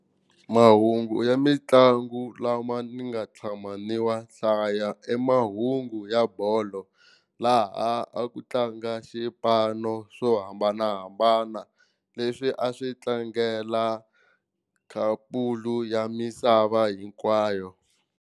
Mahungu ya mitlangu lama ni nga tshama ni wa hlaya i mahungu ya bolo laha a ku tlanga xipano swo hambanahambana leswi a swi tlangela ya misava hinkwayo.